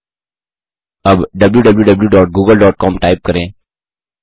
अब wwwgooglecom type करें